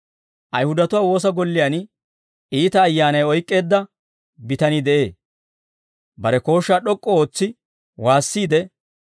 Ayihudatuwaa woosa golliyaan iita ayyaanay oyk'k'eedda bitanii de'ee; bare kooshshaa d'ok'k'u ootsi waassiide,